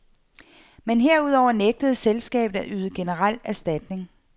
Men herudover nægtede selskabet at yde generel erstatning.